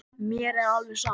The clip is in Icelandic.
Mér er alveg sama